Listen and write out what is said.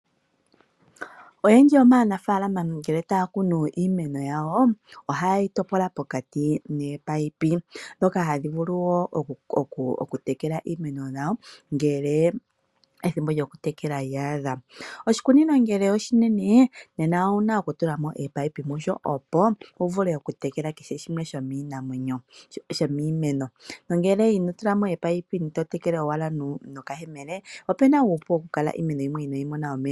Oyendjii yomaanafaalama ngele taya kunu iimeno yawo ohaye shi topola pokati nominino ndhoka hadhi vulu wo okutekela iimeno yawo ngele ethimbo lyokutekela lya adha. Oshikunino ngele oshinene nena owu na okutulamo ominino musho opo wu vule okutekela kehe shimwe shomiimeno nongele ino tula mo ominino to tekele owala nokayemele opu na uupu okukala pu na iimeno yimwe yi kale inayi mona omeya.